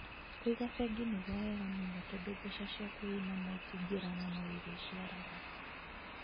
Kũiga bengi nĩgwo wega mũno tondu mbeca cĩaku wena ma İtingĩura na no irĩciaraga